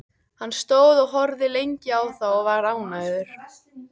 Hann stóð og horfði lengi á þá og var ánægður.